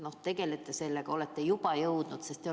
Kas te tegelete sellega, kas olete juba jõudnud tegeleda?